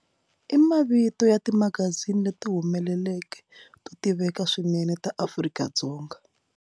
I mavito ya timagazini leti humeleleke to tiveka swinene ta Afrika-Dzonga.